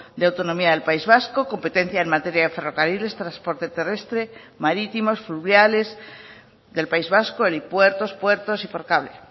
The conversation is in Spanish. de autonomía del país vasco competencia en materia de ferrocarriles transporte terrestre marítimos fluviales del país vasco helipuertos puertos y por cable